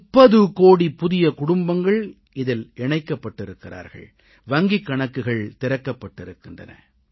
30 கோடி புதிய குடும்பங்கள் இதில் இணைக்கப்பட்டிருக்கிறார்கள் வங்கிக் கணக்குகள் திறக்கப் பட்டிருக்கின்றன